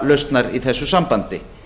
töfralausnar í þessu sambandi